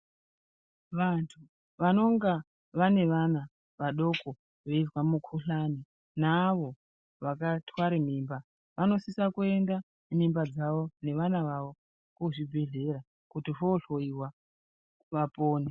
Vantu vanenge vane vana vadoko veizwa mikuhlani neavo vakatwara mimba vanosisa kuenda nemimba dzawo nevana vavo kuzvibhedhlera kuti vohloiwa vapone.